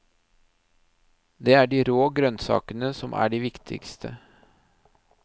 Det er de rå grønnsakene som er det viktigste.